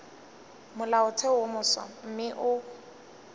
molaotheo wo mofsa mme o